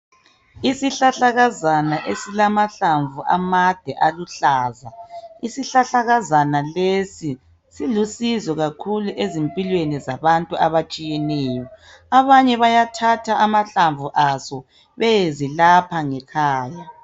Isihlahlakazana esilamahlamvu amade aluhlaza isihlahlakazana lesi silusizo kakhulu ezimpilweni zabantu abatshiyeneyo abanye bayathatha amahlamvu aso beyezilapha ngekhaya.